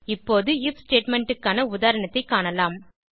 இப்போது IF statement க்கான உதாரணத்தைக் காணலாம